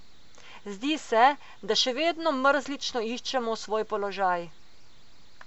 Zdi se, da še vedno mrzlično iščemo svoj položaj.